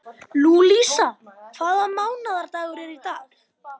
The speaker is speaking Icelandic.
Lúísa, hvaða mánaðardagur er í dag?